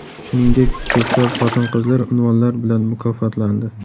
Shuningdek, ko‘plab xotin-qizlar unvonlar bilan mukofotlandi .